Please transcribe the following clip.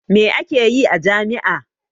Me ake yi a jami'a?